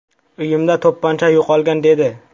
Uyimda to‘pponcha yo‘qolgan”, dedi.